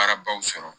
Baara baw sɔrɔ